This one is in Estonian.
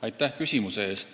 Aitäh küsimuse eest!